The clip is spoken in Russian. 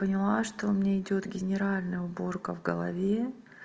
поняла что у меня идёт генеральная уборка в голове